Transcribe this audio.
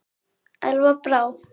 Elva Brá.